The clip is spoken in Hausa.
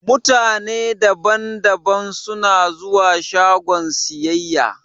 Mutane da ban da ban suna zuwa shagon siyayya.